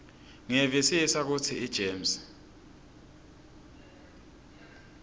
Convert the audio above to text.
ngiyevisisa kutsi igems